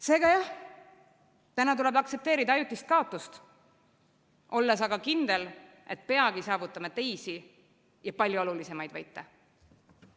Seega jah, täna tuleb aktsepteerida ajutist kaotust, olles aga kindel, et peagi saavutame teisi ja palju olulisemaid võite.